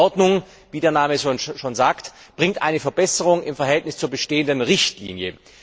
Denn diese Verordnung wie der Name es schon sagt bringt eine Verbesserung im Verhältnis zur bestehenden Richtlinie.